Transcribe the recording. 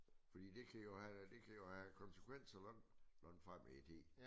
Fordi det kan jo have det kan jo have konsekvenser langt langt frem i tid